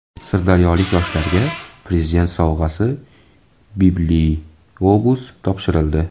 Sirdaryolik yoshlarga Prezident sovg‘asi bibliobus topshirildi.